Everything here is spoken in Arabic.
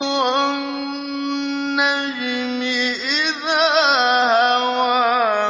وَالنَّجْمِ إِذَا هَوَىٰ